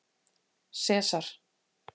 Sesar